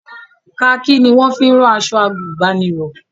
Kaakí ni wọ́n fi ń rán aṣọ àgùnbánirọ̀